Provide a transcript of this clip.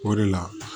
O de la